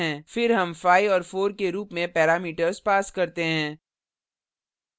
फिर हम 5 और 4 के रूप में parameters pass करते हैं